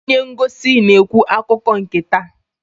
Onye ngosi na-ekwu akụkọ nke taa.